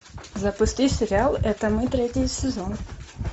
запусти сериал это мы третий сезон